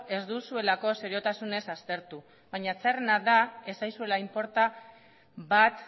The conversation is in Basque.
ez duzuelako seriotasunez aztertu baina txarrena da ez zaizuela inporta bat